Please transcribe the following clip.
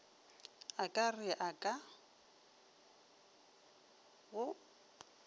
a ka re ka go